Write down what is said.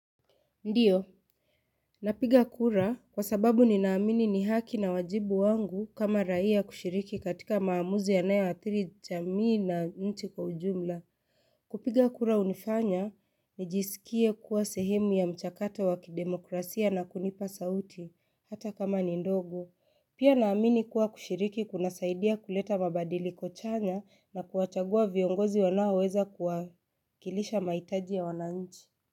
Ndiyo, napiga kura kwa sababu ninaamini ni haki na wajibu wangu kama raia kushiriki katika maamuzi yanayoathiri jamii na nchi kwa ujumla. Kupiga kura hunifanya, nijisikie kuwa sehemu ya mchakato wa kidemokrasia na kunipa sauti, hata kama ni ndogo. Pia naamini kuwa kushiriki kunasaidia kuleta mabadiliko chanya na kuwachagua viongozi wanaoweza kuwakilisha mahitaji ya wananchi.